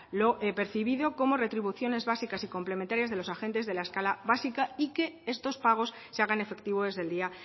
lo percibido como retribuciones básicas y complementarias de los agentes de la escala básica y que estos pagos se hagan efectivo desde el día